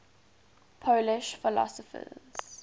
polish philosophers